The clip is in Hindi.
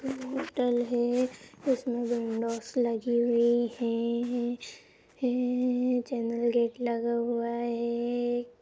होटल है उसमें विंडोस लगी हुई है है चैनल गेट लगा हुआ है।